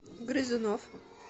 грызунов